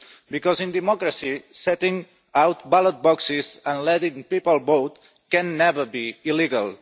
because, in a democracy, setting out ballot boxes and letting people vote can never be illegal.